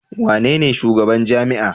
Wanene shugaban jami'a?